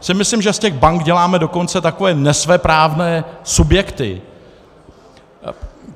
Já si myslím, že z těch bank děláme dokonce takové nesvéprávné subjekty.